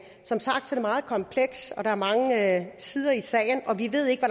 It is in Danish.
som sagt er det meget komplekst og der er mange sider af sagen vi ved ikke